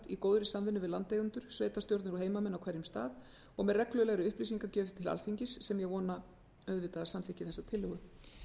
í góðri samvinnu við landeigendur sveitarstjórnir og heimamenn á hverjum stað og með reglulegri upplýsingagjöf til alþingis sem ég vona að samþykki þessa tillögu